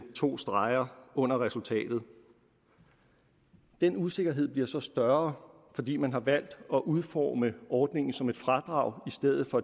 to streger under resultatet den usikkerhed bliver så større fordi man har valgt at udforme ordningen som et fradrag i stedet for